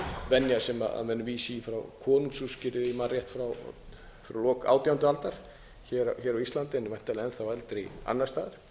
venja sem menn vísa í frá konungsúrskurð ef ég man rétt frá lok átjándu aldar hér á íslandi en væntanlega enn þá eldri annars staðar